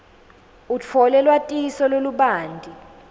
utfole lwatiso lolubanti